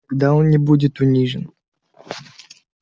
тогда он не будет уничтожен